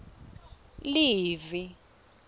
livi